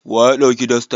Wa ya ɗauki dastar?